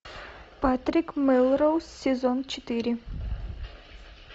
патрик мелроуз сезон четыре